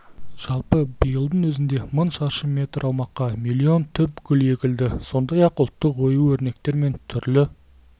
жалпы биылдың өзінде мың шаршы метр аумаққа миллион түп гүл егілді сондай-ақ ұлттық ою-өрнектер мен түрлі